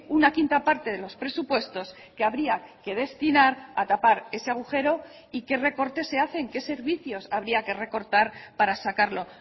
una quinta parte de los presupuestos que habría que destinar a tapar ese agujero y qué recortes se hacen qué servicios habría que recortar para sacarlo